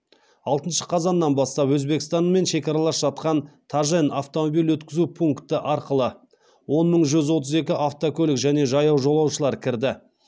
алтыншы қазаннан бастап өзбекстанмен шекаралас жатқан тажен автомобиль өткізу пункті арқылы он мың жүз отыз екі автокөлік және жаяу жолаушылар кірді